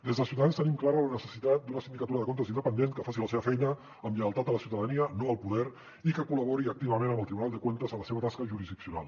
des de ciutadans tenim clara la necessitat d’una sindicatura de comptes independent que faci la seva feina amb lleialtat a la ciutadania no al poder i que col·labori activament amb el tribunal de cuentas en la seva tasca jurisdiccional